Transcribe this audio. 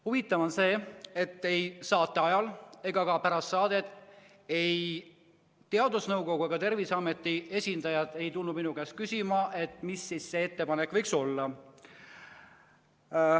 Huvitav on see, et ei saate ajal ega ka pärast saadet ei tulnud ei teadusnõukoja ega Terviseameti esindajad minu käest küsima, mis see ettepanek võiks olla.